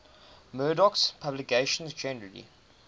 murdoch's publications generally